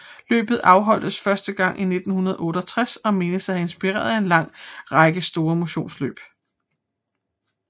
Løbet afholdtes første gang i 1968 og menes at have inspireret en lang række store motionsløb